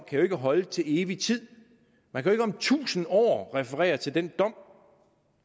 kan holde til evig tid man kan ikke om tusinde år referere til den dom